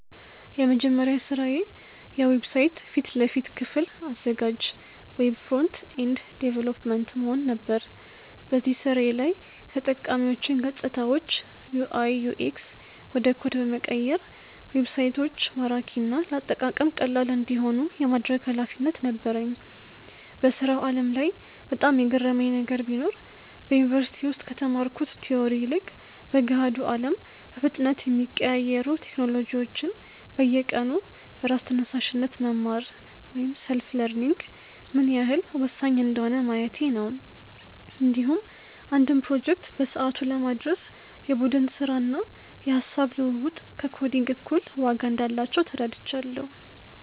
የመጀመሪያ ስራዬ የዌብሳይት ፊት ለፊት ክፍል አዘጋጅ (Web Front-End Developer) መሆን ነበር። በዚህ ስራዬ ላይ የተጠቃሚዎችን ገፅታዎች (UI/UX) ወደ ኮድ በመቀየር ዌብሳይቶች ማራኪና ለአጠቃቀም ቀላል እንዲሆኑ የማድረግ ኃላፊነት ነበረኝ። በስራው ዓለም ላይ በጣም የገረመኝ ነገር ቢኖር፣ በዩኒቨርሲቲ ውስጥ ከተማርኩት ቲዎሪ ይልቅ በገሃዱ አለም በፍጥነት የሚቀያየሩ ቴክኖሎጂዎችን በየቀኑ በራስ ተነሳሽነት መማር (Self-learning) ምን ያህል ወሳኝ እንደሆነ ማየቴ ነው። እንዲሁም አንድን ፕሮጀክት በሰዓቱ ለማድረስ የቡድን ስራና የሃሳብ ልውውጥ ከኮዲንግ እኩል ዋጋ እንዳላቸው ተረድቻለሁ።